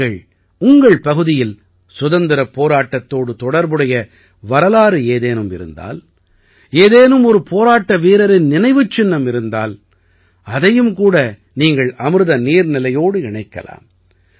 நீங்கள் உங்கள் பகுதியில் சுதந்திரப் போராட்டத்தோடு தொடர்புடைய வரலாறு ஏதேனும் இருந்தால் ஏதேனும் ஒரு போராட்ட வீரரின் நினைவுச் சின்னம் இருந்தால் அதையும் கூட நீங்கள் அமிர்த நீர்நிலையோடு இணைக்கலாம்